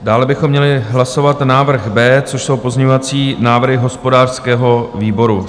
Dále bychom měli hlasovat návrh B, což jsou pozměňovací návrhy hospodářského výboru.